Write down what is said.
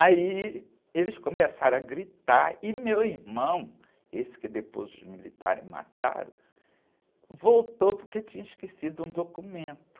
Aí eles começaram a gritar e meu irmão, esse que depois os militares mataram, voltou porque tinha esquecido um documento.